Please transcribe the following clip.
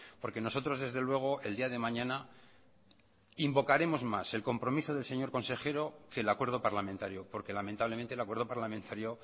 porque nosotros desde luego el día de mañana invocaremos más el compromiso del señor consejero que el acuerdo parlamentario porque lamentablemente el acuerdo parlamentario